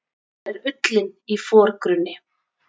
Þar er ullin í forgrunni.